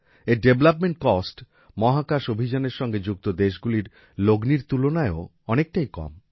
এর development cost মহাকাশ অভিযানের সঙ্গে যুক্ত দেশগুলির লগ্নির তুলনায়ও অনেকটাই কম